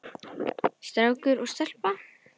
Strákur og stelpa.